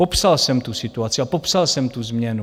Popsal jsem tu situaci a popsal jsem tu změnu.